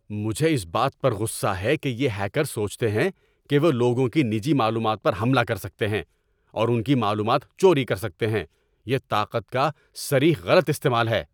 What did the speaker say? مجھے اس بات پر غصہ ہے کہ یہ ہیکرز سوچتے ہیں کہ وہ لوگوں کی نجی معلومات پر حملہ کر سکتے ہیں اور ان کی معلومات چوری کر سکتے ہیں۔ یہ طاقت کا صریح غلط استعمال ہے۔